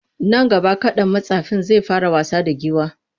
Nan gaba kaɗan mattsafin zai fara wasa da giwar.